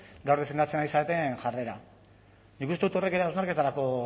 gaur defendatzen ari zareten jarrera nik uste dut horrek ere hausnarketarako